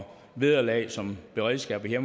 vederlag som beredskabet og